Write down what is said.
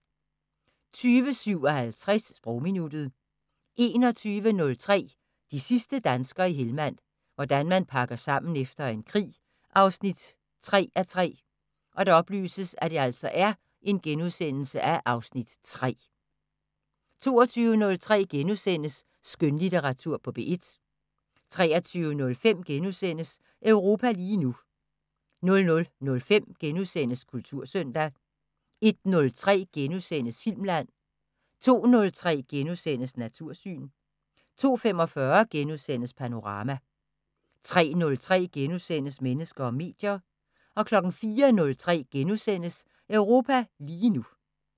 20:57: Sprogminuttet 21:03: De sidste danskere i Helmand – hvordan man pakker sammen efter en krig 3:3 (Afs. 3)* 22:03: Skønlitteratur på P1 * 23:05: Europa lige nu * 00:05: Kultursøndag * 01:03: Filmland * 02:03: Natursyn * 02:45: Panorama * 03:03: Mennesker og medier * 04:03: Europa lige nu *